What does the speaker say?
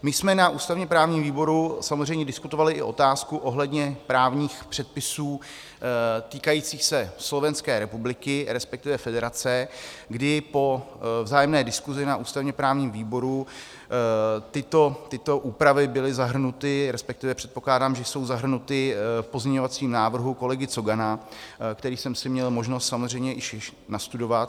My jsme na ústavně-právním výboru samozřejmě diskutovali i otázku ohledně právních předpisů týkajících se Slovenské republiky, respektive federace, kdy po vzájemné diskusi na ústavně-právním výboru tyto úpravy byly zahrnuty, respektive předpokládám, že jsou zahrnuty v pozměňovacím návrhu kolegy Cogana, který jsem si měl možnost samozřejmě již nastudovat.